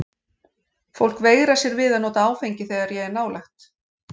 Fólk veigrar sér við að nota áfengi þegar ég er nálægt.